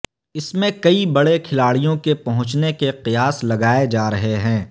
اس میں کئی بڑے کھلاڑیوں کے پہنچنے کے قیاس لگائے جا رہے ہیں